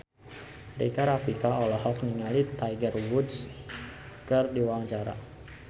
Rika Rafika olohok ningali Tiger Wood keur diwawancara